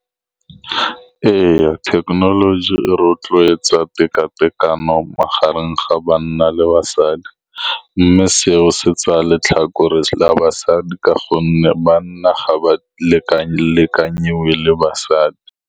Ee, thekenoloji e rotloetsa teka-tekano magareng ga banna le basadi, mme seo se tsaya letlhakore la basadi, ka gonne banna ga ba leka-lekanyediwe le basadi.